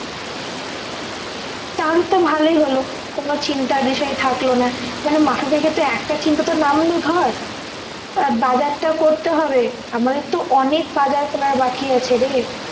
তাহলে তো ভালোই হলো কোন চিন্তার বিষয় থাকল না মানে মাথা থেকে তো একটা চিন্তা তো নামল ধর আর বাজারটা করতে হবে আমাদের তো অনেক বাজার করার বাকি আছেরে